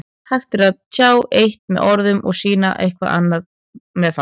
Hægt er að tjá eitt með orðum en sýna eitthvað allt annað með fasi.